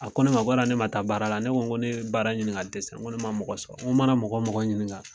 A ko ne ma ko ne ma taa baara la ne ko n ko ne ye baara ɲini ka dɛsɛ n ko ne ma mɔgɔ sɔrɔ n ko mana mɔgɔ mɔgɔ ɲininka.